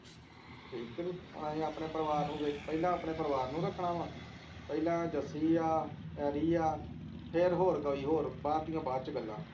ਠੀਕ ਕੇ ਨਹੀਂ ਹੁਣ ਅਸੀਂ ਆਪਣੇ ਪਰਿਵਾਰ ਨੂੰ ਵੇਖਣਾ ਪਹਿਲਾ ਆਪਣੇ ਪਰਿਵਾਰ ਨੂੰ ਰੱਖਣਾ ਵਾ ਪਹਿਲਾਂ ਜੱਸੀ ਹੈ ਐਡੀ ਆ ਫੇਰ ਹੋਰ ਕੋਈ ਹੋਰ ਬਾਅਦ ਦੀਆਂ ਬਾਅਦ ਚ ਗੱਲਾਂ